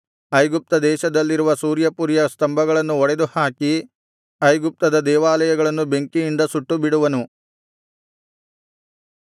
ಐಗುಪ್ತ ದೇಶದಲ್ಲಿರುವ ಸೂರ್ಯಪುರಿಯ ಸ್ತಂಭಗಳನ್ನು ಒಡೆದುಹಾಕಿ ಐಗುಪ್ತದ ದೇವಾಲಯಗಳನ್ನು ಬೆಂಕಿಯಿಂದ ಸುಟ್ಟುಬಿಡುವನು